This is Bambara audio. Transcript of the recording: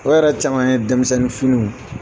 O yɛrɛ caman ye denmisɛnnin finiw ye.